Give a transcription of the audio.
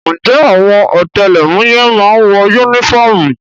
Ǹjẹ́ àwọn ọ̀tẹlẹ̀múyẹ́ má ń wọ yúnífọ́ọ̀mù?